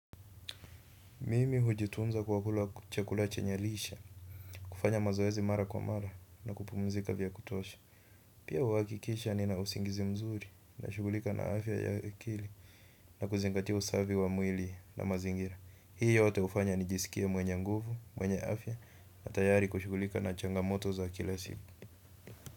Mimi hujitunza kwa kula chakula chenye lishe, kufanya mazoezi mara kwa mara na kupumzika vya kutosha. Pia uhakikisha nina usingizi mzuri nashughulika na afya ya akili na kuzingatia usafi wa mwili na mazingira. Hii yote hufanya nijisikie mwenye nguvu mwenye afya na tayari kushughulika changamoto za kila siku.